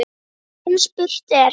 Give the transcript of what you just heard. En spurt er